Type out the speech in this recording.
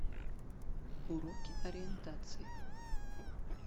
уроки ориентации